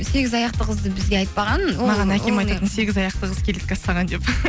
сегіз аяқты қызды бізге айтпаған сегіз аяқты қыз келеді саған деп